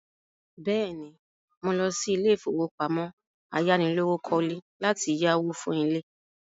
Bẹ́ẹ̀ ni, mò lọ sí ilé-ìfowópamọ́ ayánilówókọ́lé láti yáwó fún ilé.